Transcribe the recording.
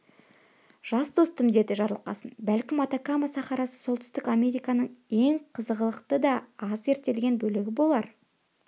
жас достым деді жарылқасын бәлкім атакама сахарасы оңтүстік американың ең қызғылықты да аз зерттелген бөлігі болар